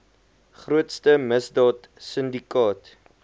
grootste misdaad sindikaat